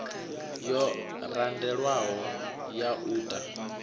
yo randelwaho ya u ta